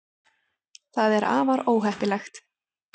það er afar óheppilegt